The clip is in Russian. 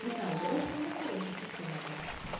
не знаю говорят что у меня хороший красивый голос